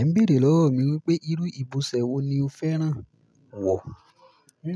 Ẹ ń béèrè lọ́wọ́ mi wípé irú ìbọ̀sẹ̀ wo ni o fẹ́ràn wọ̀.